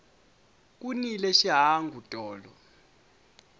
ku nile xihangu tolo